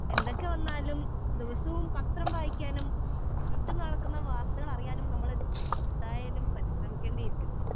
speaker 2 എന്തൊക്കെ വന്നാലും ദിവസവും പത്രം വായിക്കാനും ചുറ്റും നടക്കുന്ന കാര്യങ്ങൾ അറിയാനും നമ്മൾ എന്തായാലും പരിശ്രമിക്കേണ്ടിയിരിക്കുന്നു